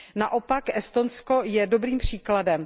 Naopak Estonsko je dobrým příkladem.